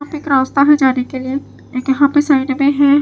यहां पे एक रास्ता है जाने के लिए एक यहां पे साइड में है।